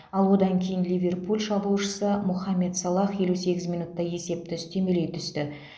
ал одан кейін ливерпуль шабуылшысы мохамед салах елу сегіз минутта есепті үстемелей түсті